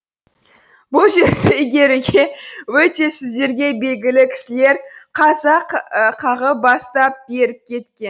бұл жерді игеруді өте сіздерге белгілі кісілер қазақ қағып бастап беріп кеткен